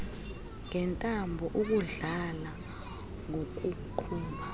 ngentambo ukudlala ngokuqhuba